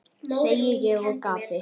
segi ég og gapi.